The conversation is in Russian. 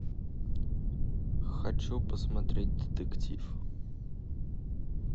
хочу посмотреть детектив